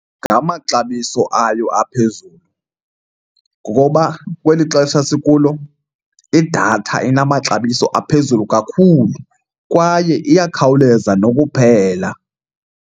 Ngamaxabiso ayo aphezulu ngokoba kweli xesha sikulo idatha inamaxabiso aphezulu kakhulu kwaye iyakhawuleza nokuphela.